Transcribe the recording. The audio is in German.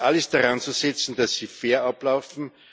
Es ist alles daran zu setzen, dass sie fair ablaufen.